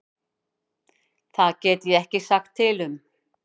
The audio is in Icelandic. Það get ég ekki sagt til um.